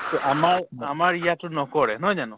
to আমাৰ আমাৰ ইয়াততো নকৰে নহয় জানো